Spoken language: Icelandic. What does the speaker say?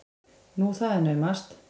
Nú, það er naumast!